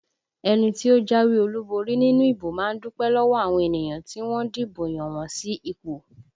Ẹni tí ó jáwé olúborí nínú ìbò má ń dúpẹ́ lọ́wọ́ àwọn ènìyàn tí wọ́n dìbò yàn wọn sí ipò